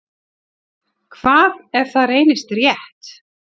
Hvað ef það reynist rétt?